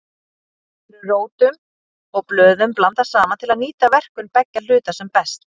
Oft eru rótum og blöðum blandað saman til að nýta verkun beggja hluta sem best.